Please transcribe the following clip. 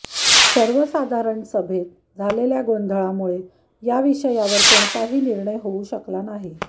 सर्वसाधारण सभेत झालेल्या गोंधळामुळे या विषयावर कोणताही निर्णय होऊ शकला नाही